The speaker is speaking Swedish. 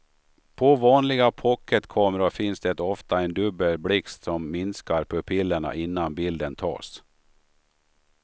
På vanliga pocketkameror finns det ofta en dubbel blixt som minskar pupillerna innan bilden tas.